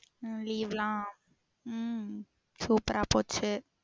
உம் leave லாம் உம் super ரா போச்சு